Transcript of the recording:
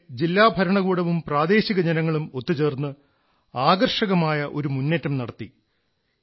ഇവിടെ ജില്ലാ ഭരണകൂടവും പ്രാദേശിക ജനങ്ങളും ഒത്തുചേർന്ന് ആകർഷകമായ ഒരു മുന്നേറ്റം നടത്തി